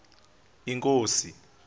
inkosi